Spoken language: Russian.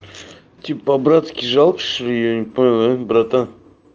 тип по-братски жалко что-ли я не понял а братан